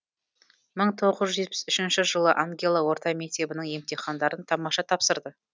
мың тоғыз жүз жетпіс үшінші жылы ангела орта мектебінің емтихандарын тамаша тапсырды